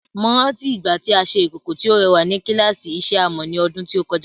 Mo rántí ìgbà tí a ṣe ìkòkò tí ó rẹwà ní kíláàsì ìṣe amọ̀ ní ọdún tó kọjá.